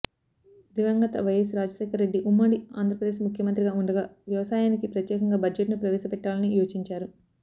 దివంగత వైఎస్ రాజశేఖరరెడ్డి ఉమ్మడి ఆంధ్రప్రదేశ్ ముఖ్యమంత్రిగా ఉండగా వ్యవసాయానికి ప్రత్యేకంగా బడ్జెట్ను ప్రవేశపెట్టాలని యోచించారు